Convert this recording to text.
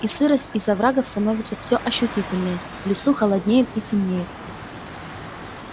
и сырость из оврагов становится все ощутительнее в лесу холоднеет и темнеет